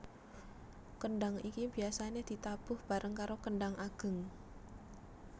Kendhang iki biasane ditabuh bareng karo kendhang ageng